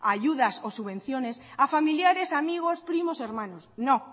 ayudas o subvenciones a familiares amigos primos hermanos no